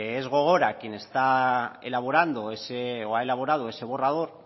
es gogora quien ha elaborado ese borrador